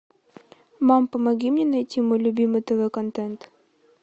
мам помоги мне найти мой любимый тв контент